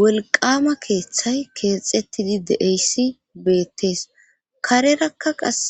wolqama keeththay keexxettidi de'iyayssi beettees. karerakka qass